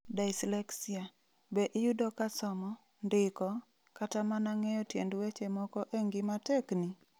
Dyslexia: Be iyudo ka somo, ndiko, kata mana ng'eyo tiend weche moko e ngima tekni? .